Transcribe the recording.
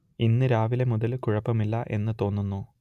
ഇന്ന് രാവിലെ മുതൽ കുഴപ്പമില്ല എന്ന് തോന്നുന്നു